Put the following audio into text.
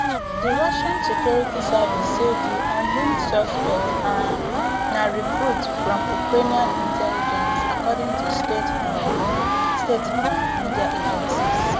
di russian security service say di unnamed suspect um na recruit from ukrainian intelligence according to state um state um media agencies